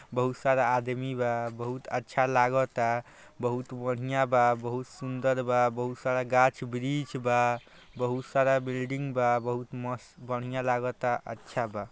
बहुत सारा आदमी बा बहुत अच्छा लागाता बहुत बढ़िया बा बहुत सुन्दर बा बहुत सारा गाछ ब्रिछ बा बहु सारा बिल्डिंग बा बहुत मस्त बढ़िया लागाता अच्छा बा।